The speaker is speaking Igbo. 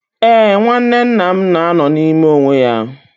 Ee, nwanne nna m na-anọ n'ime onwe ya